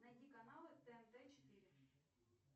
найди каналы тнт четыре